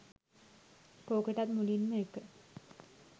කෝකටත් මුලින්ම එක